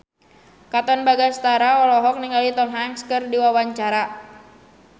Katon Bagaskara olohok ningali Tom Hanks keur diwawancara